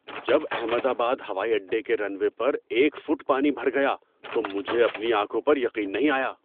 جب احمد آباد ہوائی اڈے کے رن وے پر ایک فٹ پانی بھر گیا تو مجھے اپنی آنکھوں پر یقین نہیں آیا۔